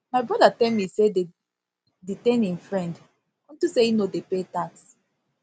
my my brother tell me say dey detain im friend unto say e no dey pay tax